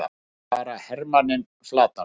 lagði bara hermanninn flatan!